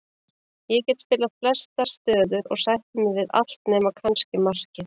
Ég get spilað flestar stöður og sætti mig við allt nema kannski markið.